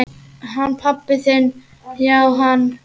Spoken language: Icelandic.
Hann pabbi þinn já, hann.